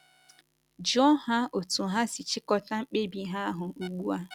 Jụọ ha otú ha si chịkọta mkpebi ha ahụ ugbu a.